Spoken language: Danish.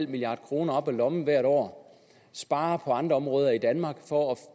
milliard kroner op af lommen hvert år spare på andre områder i danmark for